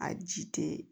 A ji tɛ